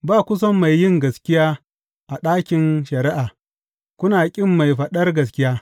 Ba ku son mai yin gaskiya a ɗakin shari’a kuna ƙin mai faɗar gaskiya.